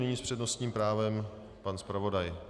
Nyní s přednostním právem pan zpravodaj.